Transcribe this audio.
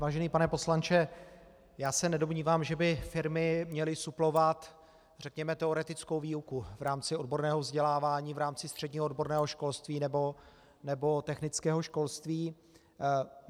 Vážený pane poslanče, já se nedomnívám, že by firmy měly suplovat řekněme teoretickou výuku v rámci odborného vzdělávání, v rámci středního odborného školství nebo technického školství.